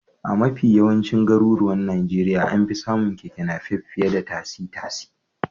A mafi yawancin garuruwan Najeriya an fi samun Keke Napep fiye da tasi-tasi.